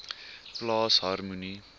plaas harmonie